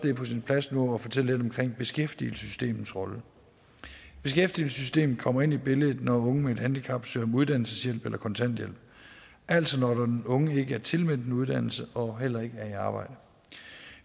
er på sin plads nu at fortælle lidt om beskæftigelsessystemets rolle beskæftigelsessystemet kommer ind i billedet når unge med et handicap søger om uddannelseshjælp eller kontanthjælp altså når den unge ikke er tilmeldt en uddannelse og heller ikke er i arbejde